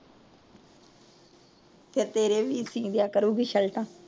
ਫਿਰ ਤੇਰੇ ਵੀ ਸਿਦਿਆਂ ਕਰੂਗੀ ਸ਼ੈੱਲਟਾ।